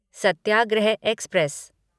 Satyagraha express